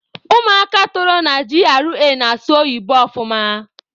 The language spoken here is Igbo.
Ụmụaka toro na GRA na-asụ oyibo ọfụma.